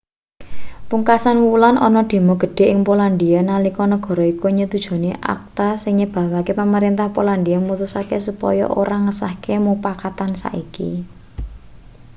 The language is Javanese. pungkasan wulan ana demo gedhe ing polandia nalika negara iku nyetujoni acta sing nyebabake pamrentah polandia mutusake supaya ora ngesahake mupakatan saiki